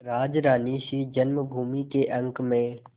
राजरानीसी जन्मभूमि के अंक में